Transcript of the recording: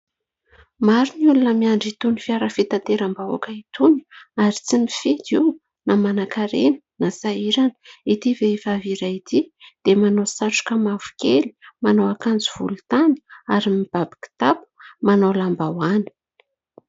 Maro ny olona miandry itony fiara fitateram-bahoaka itony ary tsy mifidy io na manankarena na sahirana. Ity vehivavy iray ity dia manao satroka mavokely, manao akanjo volontany ary mibaby kitapo, manao lambahoany.